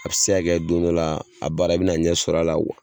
A bɛ se ka kɛ don dɔ la, a baara i bɛna ɲɛ sɔrɔ a la wa.